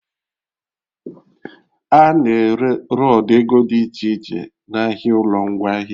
A na-ere rọdụ ego dị iche iche n'ahịa ụlọ ngwaahịa